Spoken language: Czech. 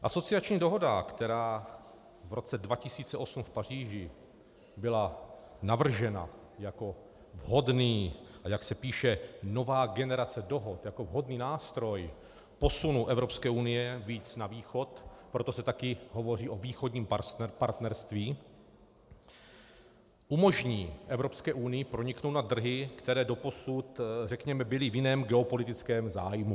Asociační dohoda, která v roce 2008 v Paříži byla navržena jako vhodný - a jak se píše, nová generace dohod - jako vhodný nástroj posunu Evropské unie víc na východ, proto se taky hovoří o Východním partnerství, umožní Evropské unii proniknout na trhy, které doposud, řekněme, byly v jiném geopolitickém zájmu.